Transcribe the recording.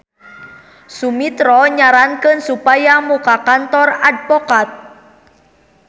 Sumitro nyarankeun supaya muka kantor advokat.